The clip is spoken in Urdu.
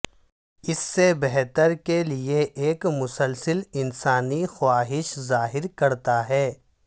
اس سے بہتر کے لئے ایک مسلسل انسانی خواہش ظاہر کرتا ہے